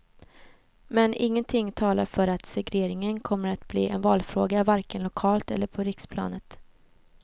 Men ingenting talar för att segregeringen kommer att bli en valfråga, varken lokalt eller på riksplanet.